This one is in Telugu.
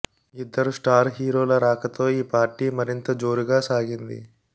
ఇద్దరు స్టార్ హీరోల రాకతో ఈ పార్టీ మరింత జోరుగా సాగింది